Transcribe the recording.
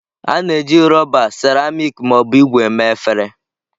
A na-eji rọba, rọba, seramiiki ma ọ bụ ígwè mee efere.